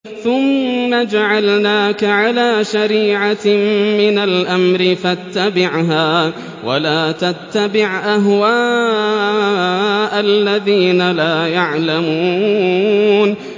ثُمَّ جَعَلْنَاكَ عَلَىٰ شَرِيعَةٍ مِّنَ الْأَمْرِ فَاتَّبِعْهَا وَلَا تَتَّبِعْ أَهْوَاءَ الَّذِينَ لَا يَعْلَمُونَ